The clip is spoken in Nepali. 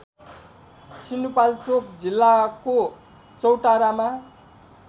सिन्धुपाल्चोक जिल्लाको चौतारामा